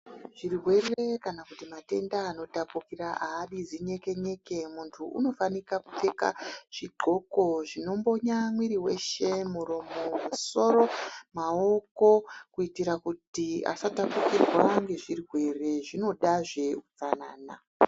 Zvirwere kana kuti matenda ano tapukira aadi zinyeke nyeke muntu unofanika kupfeka zvi ndxoko zvino mbonya mwiri weshe muromo musoro maoko kuitira kuti asa tapukirwa nge zvirwere zvinoda zve utsanana.